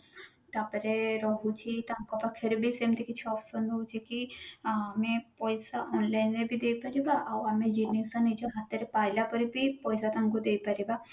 ତା ପରେ ରହୁଛି ତାଙ୍କ ପାଖରେ ବି ସେମତି କିଛି option ରହୁଛି କି ଆଏ ପଇସା online ରେ ବି ଦେଇପାରିବ ଆଉ ଆମେ ଜିନିଷ ନିଜ ହାତରେ ପାଇଲା ପରେ ବି ପଇସା ତାଙ୍କୁ ଦେଇ ପାରିବା